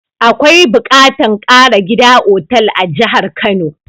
Akwai buƙatun ƙara gida otal a jahar kano